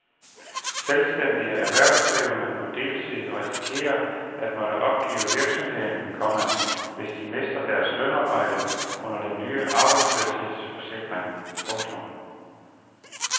Selvstændige erhvervsdrivende på deltid risikerer at måtte opgive virksomheden, komma hvis de mister deres lønarbejde under den nye arbejdsløshedsforsikring. punktum